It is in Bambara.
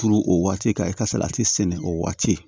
Turu o waati ka e ka salati sɛnɛ o waati